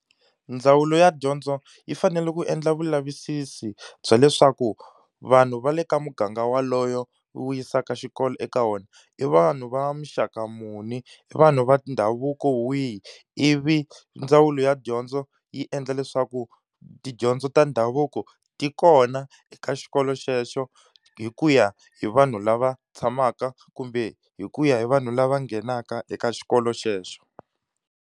Ndzawulo ya dyondzo yi fanele ku endla vulavisisi bya leswaku vanhu va le ka muganga walowo wu yisaka xikolo eka wona, i vanhu va muxaka muni, i vanhu va ndhavuko wihi, ivi ndzawulo ya dyondzo yi endla leswaku tidyondzo ta ndhavuko ti kona eka xikolo xexo hi ku ya hi vanhu lava tshamaka kumbe hi ku ya hi vanhu lava nghenaka eka xikolo xexo